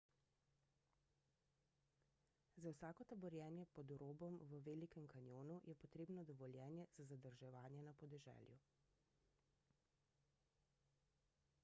za vsako taborjenje pod robom v velikem kanjonu je potrebno dovoljenje za zadrževanje na podeželju